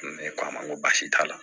Ne ko a ma n ko baasi t'a la